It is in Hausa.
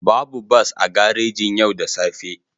Babu bas a garejin yau da safe